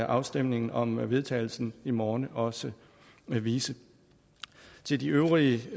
afstemningen om vedtagelse i morgen også vise til de øvrige